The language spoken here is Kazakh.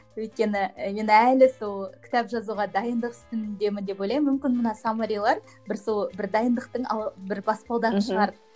өйткені енді әлі сол кітап жазуға дайындық үстіндемін деп ойлаймын мүмкін мына саммарилар бір сол бір дайындықтың бір баспалдағы шығар мхм